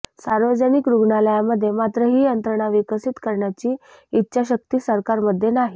सार्वजनिक रुग्णालयामध्ये मात्र ही यंत्रणा विकसित करण्याची इच्छाशक्ती सरकारमध्ये नाही